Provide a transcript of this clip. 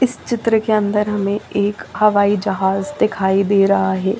इस चित्र के अंदर हमें एक हवाई जहाज दिखाई दे रहा है।